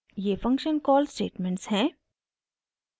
ये function call statements हैं